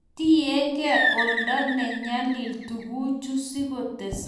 tinyengei oldo ne nyalil tunguichu sikutesaka